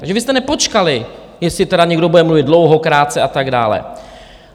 Takže vy jste nepočkali, jestli tedy někdo bude mluvit dlouho, krátce a tak dále.